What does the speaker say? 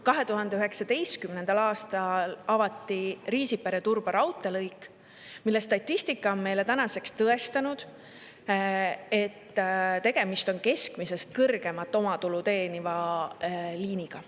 2019. aastal avati Riisipere-Turba raudteelõik ja statistika on meile tõestanud, et tegemist on keskmisest kõrgemat omatulu teeniva liiniga.